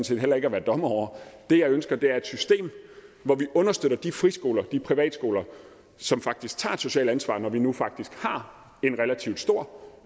set heller ikke at være dommer over det jeg ønsker er et system hvor vi understøtter de friskoler de privatskoler som faktisk tager et socialt ansvar når vi nu faktisk har en relativt stor